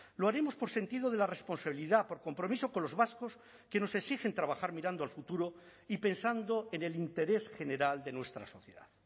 lo haremos por sentido de la responsabilidad por compromiso con los vascos que nos exigen trabajar mirando al futuro y pensando en el interés general de nuestra sociedad